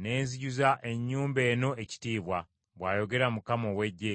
ne nzijuza ennyumba eno ekitiibwa,’ bw’ayogera Mukama ow’Eggye.